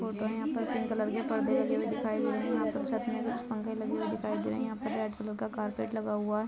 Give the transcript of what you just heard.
photo है यहां पे पिंक कलर के पर्दे लगे हुए दिखाई दे रहे हैं हे यहां छत पर कुछ पंखे लगे लगे हुए दिखाई दे रहे हैं यहां पर रेड कलर का कार्पेट लगा हुआ--